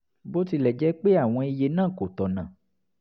bó tilẹ̀ jẹ́ pé àwọn iye náà kò tọ̀nà